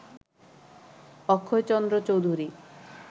Akshaychandra Chowdhury